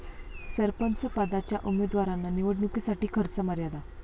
सरपंचपदाच्या उमेदवारांना निवडणुकीसाठी खर्च मर्यादा